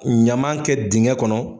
Ɲaman kɛ digɛn kɔnɔ